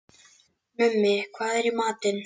Mummi, hvað er í matinn?